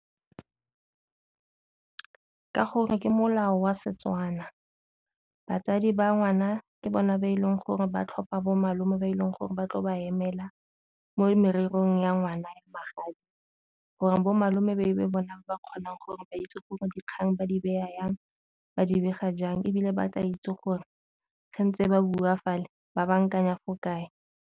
Ka gore ke molao wa Setswana batsadi ba ngwana ke bona ba e leng gore ba tlhopha bo malome ba e leng gore ba tlo ba emela, mo morerong ya ngwana ya magadi gore bo malome ba e be bona ba ba kgonang gore ba itse gore dikgang ba di beya jang, ba di bega jang ebile ba tla itse gore ge ntse ba bua fale ba bankanya fo kae.